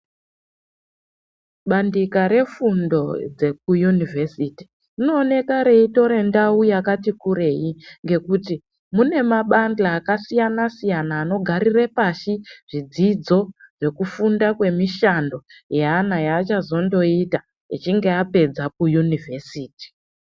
Bandiko refundo dzekuyunivhesiti rinooneka reitora ndau yakati kurei ngekuti mune mabande akasiyana siyana anogarira pasi zvidzidzo zvekufunda kwemishando yeana yeachazondoita echinge apedza kuyunivhesiti.